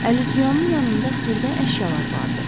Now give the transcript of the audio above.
Əl-üzüyanın yanında xırda əşyalar vardı.